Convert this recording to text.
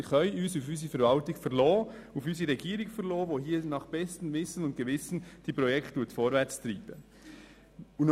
Wir können uns auf unsere Regierung und auf die Verwaltung verlassen, die diese Projekte nach bestem Wissen und Gewissen voranbringen.